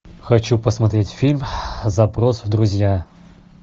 хочу посмотреть фильм запрос в друзья